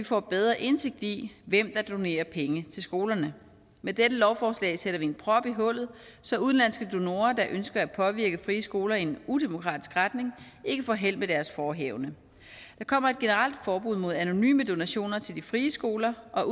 får bedre indsigt i hvem der donerer penge til skolerne med dette lovforslag sætter vi en prop i hullet så udenlandske donorer der ønsker at påvirke frie skoler i en udemokratisk retning ikke får held med deres forehavende der kommer et generelt forbud mod anonyme donationer til de frie skoler og